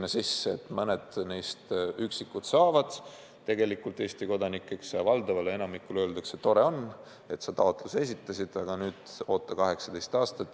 Vaid mõned üksikud neist saavad Eesti kodanikeks, aga valdavale enamikule öeldakse, et tore on, et sa taotluse esitasid, aga nüüd oota, kuni saad 18-aastaseks.